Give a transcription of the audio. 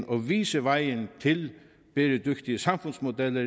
og vise vejen til bæredygtige samfundsmodeller